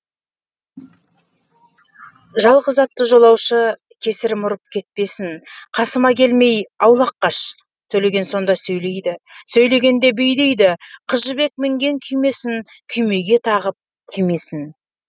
жалғыз атты жолаушы кесірім ұрып кетпесін қасыма келмей аулақ қаш төлеген сонда сөйлейді сөйлегене бүйдейді қыз жібек мінген күймесін күймеге тағып түймесін